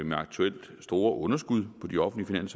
med aktuelt store underskud på de offentlige